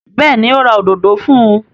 Bẹ́ẹ̀ ni, ó ra òdòdó fún un.